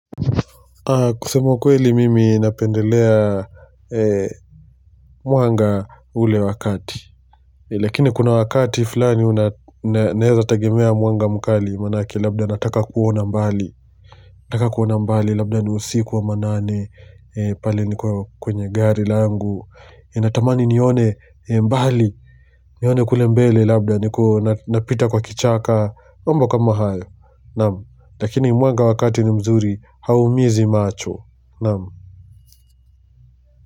Kusema ukweli mimi napendelea mwanga ule wa wakati lakini kuna wakati fulani unaeza tegemea mwanga mkali manake labda nataka kuona mbali nataka kuona mbali labda ni usiku wa manane pale niko kwenye gari langu natamani nione mbali nione kule mbele labda napita kwa kichaka mambo kama hayo naam lakini mwanga wa kati ni mzuri haumizi macho Naam.